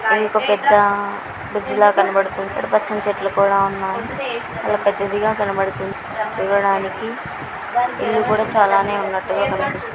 ఇదొక పెద్ద బ్రిడ్జ్ లా కనబడుతుంది. ఇక్కడ పచ్చని చెట్లు కూడా ఉన్నాయి. పెద్దదిగా కనబడుతుంది. చూడడానికి ఇల్లు కూడా చాలానే ఉన్నట్టుగా కనిపిస్తు--